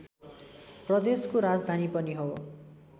प्रदेशको राजधानी पनि हो